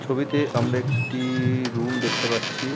ছবিতে আমরা এক-টি রুম দেখতে পারছি।